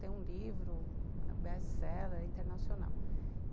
Tem um livro, é um best-seller internacional.